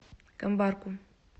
камбарку